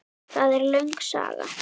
Það er löng saga.